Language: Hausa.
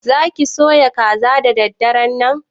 Za ki soya kaza da daddaran nan?